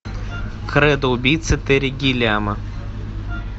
кредо убийцы терри гиллиама